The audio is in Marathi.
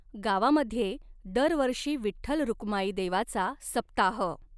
गावामध्ये दरवर्षी विठठ्ल रुक्माई देवाचा सप्ताह